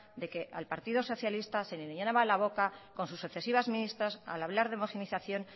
de que al partido socialista se le llenaba la boca con sus sucesivas ministras al hablar de homogeneización